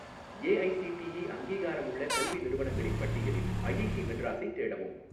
AICTE அங்கீகாரமுள்ள கல்வி நிறுவனங்களின் பட்டியலில் ஐஐடி மெட்ராஸைத் தேடவும்